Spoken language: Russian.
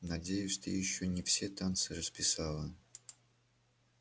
надеюсь ты ещё не все танцы расписала